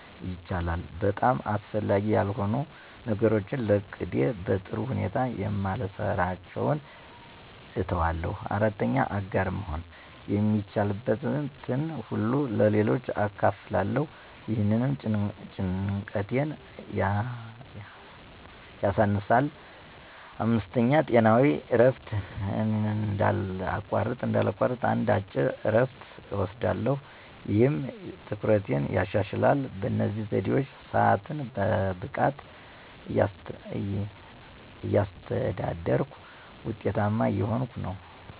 ይቻላል!** - በጣም አስፈላጊ ያልሆኑ ነገሮችን ለቅጄ በጥሩ ሁኔታ የማልሰራቸውን እተዋለሁ። 4. **አጋር መሆን** - የሚቻልበትን ሁሉ ለሌሎች አካፍላለሁ፣ ይህም ጭንቀቴን ያሳነሳል። 5. **ጤናዊ እረፍት** - እንዳላቋርጥ አንድ አጭር እረፍት እወስዳለሁ፣ ይህም ትኩረቴን ያሻሽላል። በእነዚህ ዘዴዎች ሰአቴን በብቃት እያስተዳደርኩ ውጤታማ እየሆንኩ ነው።